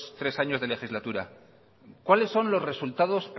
tres años de legislatura cuáles son los resultados